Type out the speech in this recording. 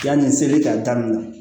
Yanni seli ka daminɛ